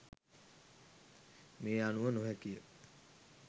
මේ අනුව නො හැකි ය.